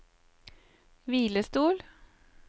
hvilestol